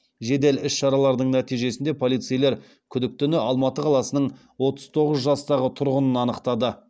жедел іс шаралардың нәтижесінде полицейлер күдіктіні алматы қаласының отыз тоғыз жастағы тұрғынын анықтады